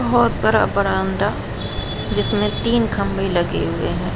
बोहोत बहो बड़ा-बड़ा अंडा जिसमे तीन खम्भे लगे हुए हैं।